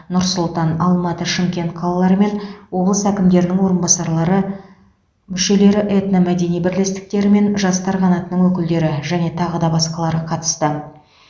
нұр сұлтан алматы шымкент қалаларымен облыстар әкімдерінің орынбасарлары мүшелері этномәдени бірлестіктері мен жастар қанатының өкілдері және тағы да басқалары қатысты